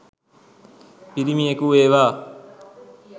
පිරිමියෙකු වේවා